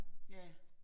Ja